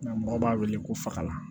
Nka mɔgɔ b'a wele ko faga